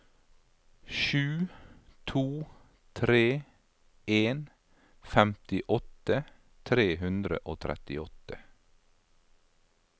sju to tre en femtiåtte tre hundre og trettiåtte